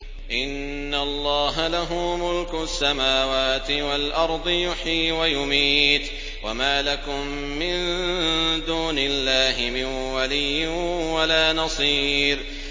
إِنَّ اللَّهَ لَهُ مُلْكُ السَّمَاوَاتِ وَالْأَرْضِ ۖ يُحْيِي وَيُمِيتُ ۚ وَمَا لَكُم مِّن دُونِ اللَّهِ مِن وَلِيٍّ وَلَا نَصِيرٍ